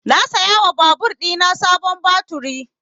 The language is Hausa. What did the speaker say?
Na saya wa babur ɗina sabon baturi